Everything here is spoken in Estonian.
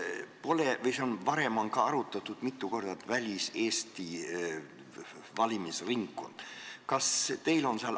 Varem on mitu korda arutatud väliseesti valimisringkonna loomist.